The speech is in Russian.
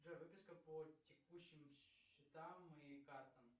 джой выписка по текущим счетам и картам